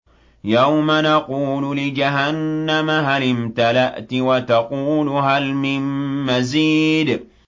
يَوْمَ نَقُولُ لِجَهَنَّمَ هَلِ امْتَلَأْتِ وَتَقُولُ هَلْ مِن مَّزِيدٍ